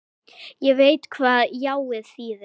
Ég veit hvað jáið þýðir.